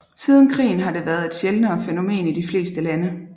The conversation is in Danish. Siden krigen har det været et sjældnere fænomen i de fleste lande